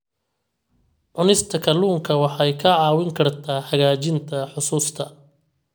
Cunista kalluunka waxay kaa caawin kartaa hagaajinta xusuusta.